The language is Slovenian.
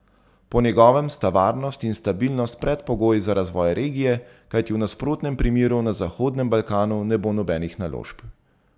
Po njegovem sta varnost in stabilnost predpogoj za razvoj regije, kajti v nasprotnem primeru na Zahodnem Balkanu ne bo nobenih naložb.